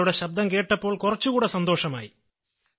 നിങ്ങളുടെ ശബ്ദം കേട്ടപ്പോൾ കുറച്ചു കൂടെ സന്തോഷമായി